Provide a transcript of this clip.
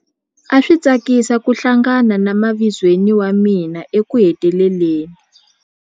A swi tsakisa ku hlangana na mavizweni wa mina ekuheteleleni.